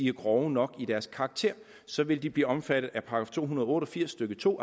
er grov nok så vil de blive omfattet af § to hundrede og otte og firs stykke to